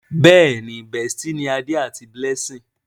Béèni bestie ní Ade àti Blessing.